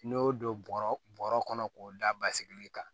N'i y'o don bɔrɔ kɔnɔ k'o da basigi kan